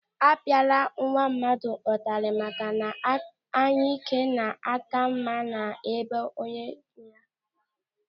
A pịa kwala nwa mmadụ ụtarị maka na anyike na-aka mma na be onye nwe ya!